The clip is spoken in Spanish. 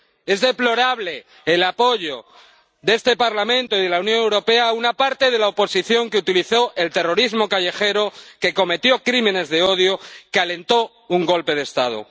Es deplorable el apoyo de este Parlamento y de la Unión Europea a una parte de la oposición que utilizó el terrorismo callejero, que cometió crímenes de odio, que alentó un golpe de Estado.